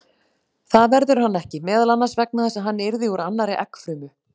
Það verður hann ekki, meðal annars vegna þess að hann yrði úr annarri eggfrumu.